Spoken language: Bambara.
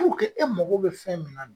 e mago be fɛn min na